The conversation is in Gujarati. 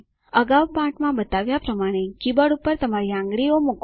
અગાઉ પાઠ માં બતાવ્યા પ્રમાણે કીબોર્ડ પર તમારી આંગળીઓ મૂકો